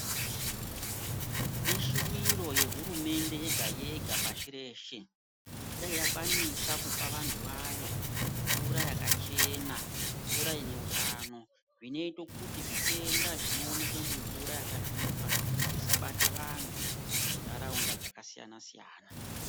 Ishiviro yehurumende yega-yega pashi reshe kuti dai yakwanisa kupavantu vayo mvura yakachena mvura ine utano. Zvinoita kuti zvitenda zvinoneka mumvura yakasvipa zvisabate vantu muntaraunda dzakasiyana-siyana.